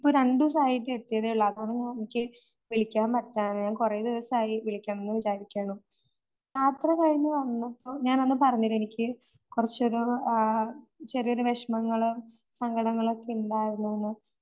ഇപ്പം രണ്ടു ദിവസായിട്ട് എത്തിയതെയുള്ളൂ. അപ്പം എനിക്ക് വിളിക്കാൻ പറ്റാതെയായി ഞാൻ കുറേ ദിവസായി വിളിക്കണോന്ന് വിചാരിക്കണു. യാത്ര കഴിഞ്ഞു വന്നപ്പം ഞാൻ അന്ന് പറഞ്ഞില്ലേ എനിക്ക് കുറച്ച് ഒരു ആഹ് ചെറിയൊരു വിഷമങ്ങള് സങ്കടങ്ങളൊക്കെ ഇണ്ടായിരുനൂന്ന്